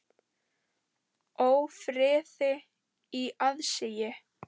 Ófriði í aðsigi.